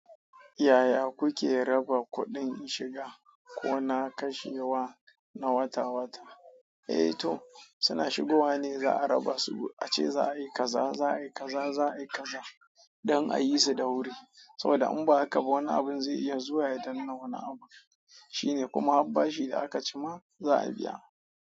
Yaya kuke raba kuɗin shiga ko na kashewa na wata-wata? Eh to, suna shigowa ne za a raba su. Ace za a yi kaza, za a yi kaza, za a yi kaza don a yi su da wuri. Saboda in ba haka ba wani abun zai iya zuwa ya danno wani abu. Shine kuma har bashi da aka cima za a biya.